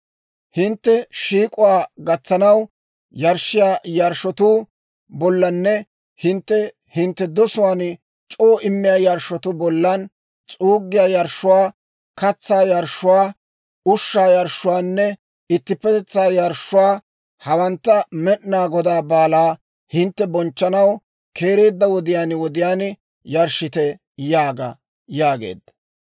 « ‹Hintte shiik'k'owaa gatsanaw yarshshiyaa yarshshotuu bollanne hintte hintte dosuwaan c'oo immiyaa yarshshotuu bolla, s'uuggiyaa yarshshuwaa, katsaa yarshshuwaa, ushshaa yarshshuwaanne ittippetetsaa yarshshuwaa, hawantta Med'inaa Godaa baalaa hintte bonchchanaw keereedda wodiyaan wodiyaan yarshshite› yaaga» yaageedda.